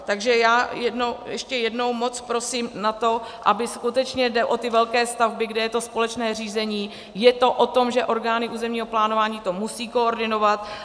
Takže já ještě jednou moc prosím o to, aby skutečně, jde o ty velké stavby, kde je to společné řízení, je to o tom, že orgány územního plánování to musejí koordinovat.